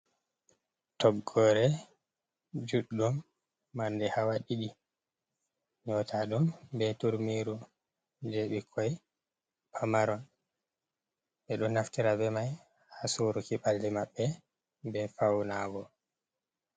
Toggore juɗɗo mande hawa ɗiɗi nyautaɗum be turmi je bikkoi pamaron ɓeɗo naftira be mai ha suruki ɓalli maɓɓe be fauna go.